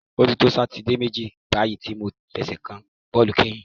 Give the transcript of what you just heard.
O ti to Sátidé méjì báyìí tí mo ti fẹsẹ̀ kan bọ́ọ̀lù kányìn.